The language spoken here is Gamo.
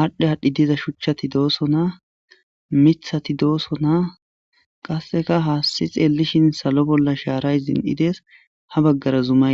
aadhdhe aadhdhi diza shuchchati dooso na mithati dooso na qasseka haassi xeelishin salo bolla shaaray zin7ides ha baggara zuma.